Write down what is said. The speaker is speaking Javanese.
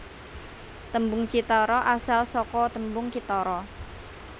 Tembung cithara asal saka tembung kithara